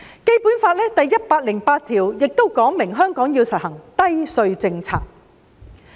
《基本法》第一百零八條說明，香港要實行低稅政策。